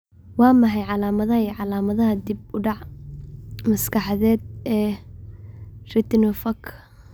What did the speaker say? Waa maxay calaamadaha iyo calaamadaha dib u dhac maskaxeed ee retinopathka?